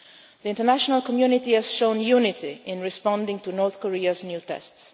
proliferation. The international community has shown unity in responding to North Korea's